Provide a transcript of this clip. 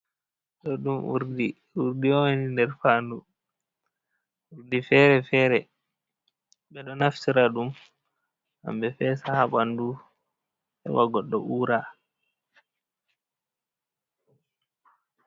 Do ɗum urdi, urdi un nder fandu urdi fere-fere. Ɓe ɗo naftira ɗum ngam be fesa ha bandu heba goɗɗo uura.